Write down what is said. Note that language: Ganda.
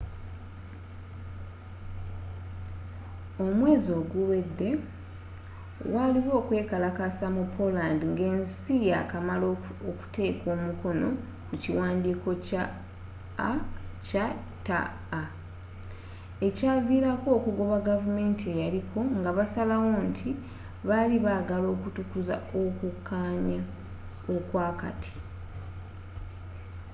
omwezi oguwedde waliwo okwekalakasa mu poland nga esi ya kamala okuteka omukono ku kiwandiiko kya acta ekyavilako okugoba gavumanti eyaliko nga basalawo nti bali bagala okutukuza okukanya okwa kati